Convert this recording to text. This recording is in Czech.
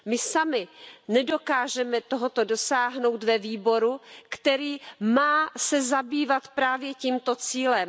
My sami nedokážeme tohoto dosáhnout ve výboru, který se má zabývat právě tímto cílem.